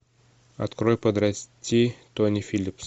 открой подрасти тони филлипс